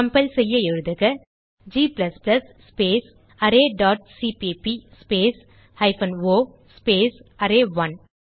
compile செய்ய எழுதுக g space array dot CPP space hyphen O space அரே1